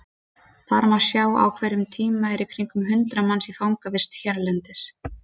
Þar má sjá að á hverjum tíma eru í kringum hundrað manns í fangavist hérlendis.